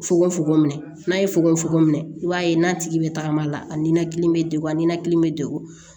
Fokoko minɛ n'a ye fogofogo minɛ i b'a ye n'a tigi bɛ tagama la a ninakili bɛ degun a ninakili bɛ degun